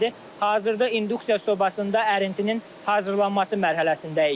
Hazırda induksiya sobasında ərintinin hazırlanması mərhələsindəyik.